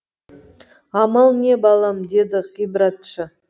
амал не балам деді ғибратшы